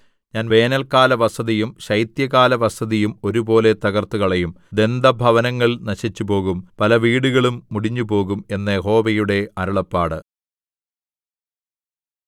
ഞാൻ വേനൽക്കാലവസതിയും ശൈത്യകാലവസതിയും ഒരുപോലെ തകർത്തുകളയും ദന്തഭവനങ്ങൾ നശിച്ചുപോകും പലവീടുകളും മുടിഞ്ഞുപോകും എന്ന് യഹോവയുടെ അരുളപ്പാട്